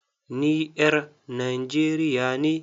NI ƴar Nigeria ne.